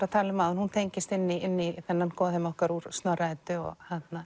að tala um áðan hún tengist inn í þennan okkar úr Snorra Eddu og